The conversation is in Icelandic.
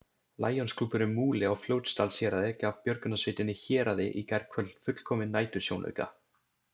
Lionsklúbburinn Múli á Fljótsdalshéraði gaf björgunarsveitinni Héraði í gærkvöld fullkominn nætursjónauka.